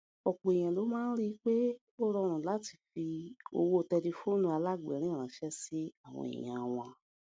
òpò èèyàn ló máa ń rí i pé ó rọrùn láti fi owó tẹlifóònù alágbèérìn ránṣé sí àwọn èèyàn wọn